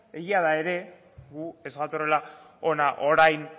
egia da ere gu ez gatozela hona orain